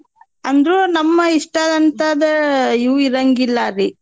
ಅಂದ್ರೂ ನಮ್ ಇಸ್ಟದಂತಾದ್ದ್ ಇವೂ ಇರಂಗಿಲ್ಲಾರಿ.